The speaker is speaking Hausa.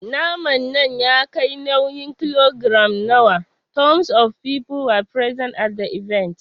Naman nan ya kai nauyin kilogiram nawa? Tons of people were present at the event.